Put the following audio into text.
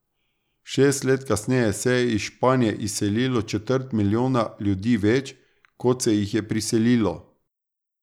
Šest let kasneje se je iz Španije izselilo četrt milijona ljudi več, kot se jih je priselilo.